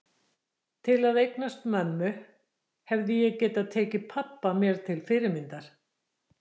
Til að eignast mömmu hefði ég getað tekið pabba mér til fyrirmyndar.